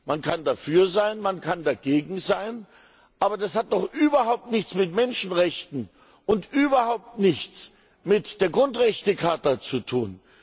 Man kann dafür sein, man kann dagegen sein, aber das hat doch überhaupt nichts mit Menschenrechten und überhaupt nichts mit der Grundrechtecharta zu tun!